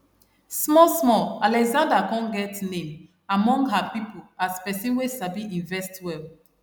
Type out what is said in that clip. small small alexandra come get name among her people as person wey sabi invest well